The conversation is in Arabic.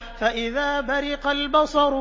فَإِذَا بَرِقَ الْبَصَرُ